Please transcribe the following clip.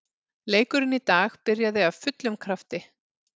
Leikurinn í dag byrjaði af fullum krafti.